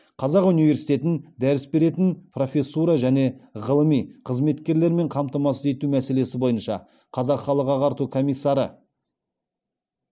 қазақ университетін дәріс беретін профессура және ғылыми қызметкерлермен қамтамасыз ету мәселесі бойынша қазақ халық ағарту комиссары